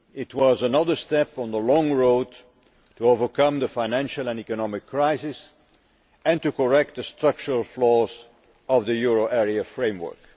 It was another step on the long road to overcoming the financial and economic crisis and correcting the structural flaws of the euro area framework.